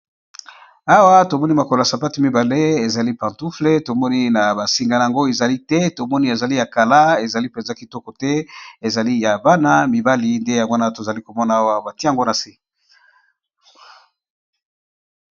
Awa tomoni makolo ya sapatu mibale ezali pantouffle, tomoni na ba singa nango ezali te tomoni ezali ya kala ezali mpenza kitoko te ezali ya bana mibali nde yango wana tozali komona awa batie ngo na se.